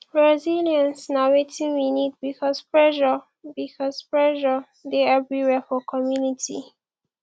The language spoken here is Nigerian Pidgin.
resilience na wetin we need because pressure because pressure dey everywhere for community